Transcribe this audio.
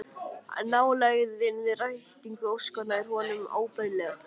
Nálægðin við rætingu óskanna er honum óbærileg